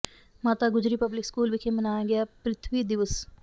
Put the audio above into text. ਮਾਤਾ Gujri public school ਵਿੱਚ ਮਨਾਇਆ ਗਿਆ ਪਿ੍ਥਵੀ ਦਿਵਸ